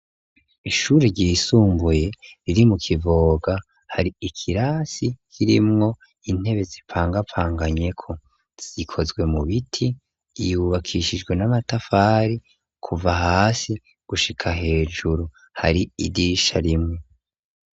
Ishuri ryisunguye riri mu kivoga, hari ikirasi kirimwo intebe zipangapanganyeko, zikozwe mu biti, yubakishijwe n'amatafari kuva hasi gushika hejuru, hari idisha rimwe.